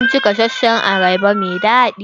Mun ci gasashen ayaba mai daɗi.